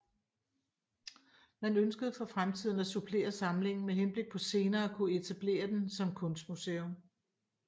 Man ønskede for fremtiden at supplere samlingen med henblik på senere at kunne etablere den som kunstmuseum